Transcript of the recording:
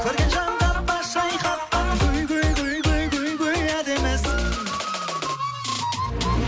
көрген жанға бас шайқатқан әдемісің